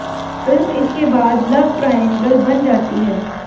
film इसके बाद love triangle बन जाती है